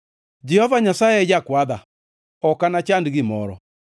Jehova Nyasaye e jakwadha, ok anachand gimoro.